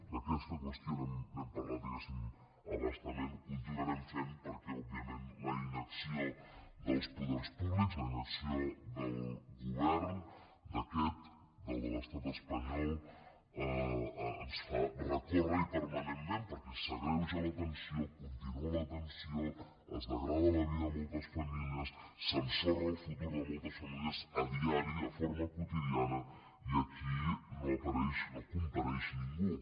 d’aquesta qüestió n’hem parlat diguéssim a bastament ho continuarem fent perquè òbviament la inacció dels poders públics la inacció del govern d’aquest del de l’estat espanyol ens fa recórrer hi permanentment perquè s’agreuja la tensió continua la tensió es degrada la vida de moltes famílies s’ensorra el futur de moltes famílies diàriament de forma quotidiana i aquí no apareix no compareix ningú